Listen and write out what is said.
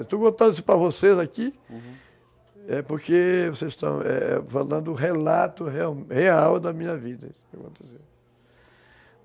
Estou contando isso para vocês aqui, uhum, porque vocês estão falando o relato real da minha vida.